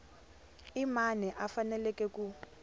i mani a faneleke ku